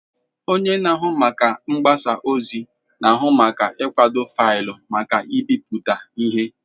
Onye na-ahụ maka mgbasa ozi na-ahụ maka ịkwado faịlụ maka ịbipụta ihe.